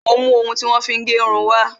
Mo ń mú ohun tí wón fi ń gérun wá